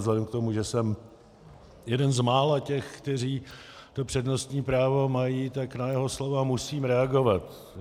Vzhledem k tomu, že jsem jeden z mála těch, kteří to přednostní právo mají, tak na jeho slova musím reagovat.